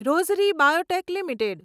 Rossari biotech limited